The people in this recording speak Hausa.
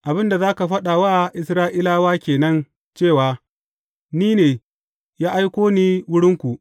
Abin da za ka faɗa wa Isra’ilawa ke nan cewa, NI NE, ya aiko ni wurinku.’